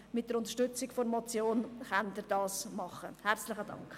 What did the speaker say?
Mit der Unterstützung der Motion können Sie dies tun.